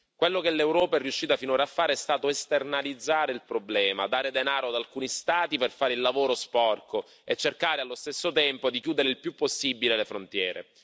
Quello che l'Europa è riuscita finora a fare è stato esternalizzare il problema, dare denaro ad alcuni Stati per fare il lavoro sporco e cercare allo stesso tempo di chiudere il più possibile le frontiere.